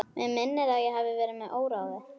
Mig minnir að ég hafi verið með óráði.